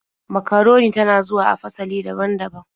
Makaroni ta na zuwa a fasali daban-daban.